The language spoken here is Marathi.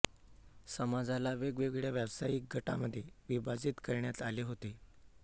समाजाला वेगवेगळ्या व्यावसायिक गटांमध्ये विभाजित करण्यात आले होते